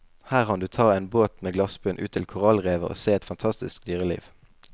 Her han du ta en båt med glassbunn ut til korallrevet og se et fantastisk dyreliv.